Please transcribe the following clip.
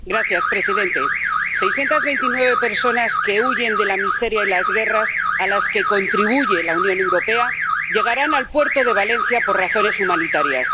Señor presidente, 629 personas que huyen de la miseria y las guerras, a las que contribuye la Unión Europea, llegarán al puerto de Valencia por razones humanitarias.